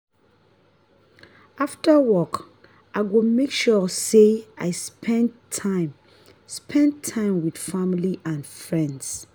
after work i go make sure say i spend time spend time with family and friends.